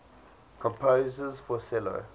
composers for cello